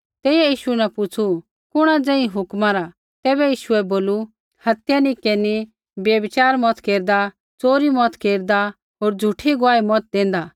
तेइयै यीशु न पुछ़ू कुणा ज़ेही हुक्मा रा तैबै यीशुऐ बोलू हत्या नी केरनी व्यभिचार मत केरदा च़ोरी मत केरदा होर झ़ूठी गुआही मत देंदा